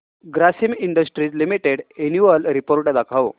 Grasim industries limited annual report दाखव